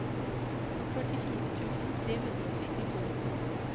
førtifire tusen tre hundre og syttito